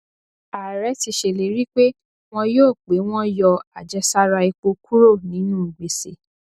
ààrẹ ti ṣèlérí pé wọn yọ pé wọn yọ àjẹsára epo kúrò nínú gbèsè